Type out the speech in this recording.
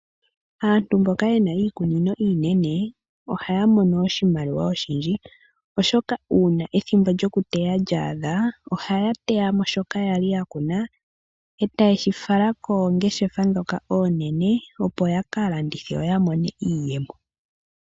Aantu mboka yena iikunino iinene ohaya mono oshimaliwa oshindji , oshoka uuna ethimbo lyokuteya lya adha ohaya teya mo shoka kwali yakuna etayi shi fala koongeshefa ndhoka oonene opo yaka landithe yoya mone iiyemo.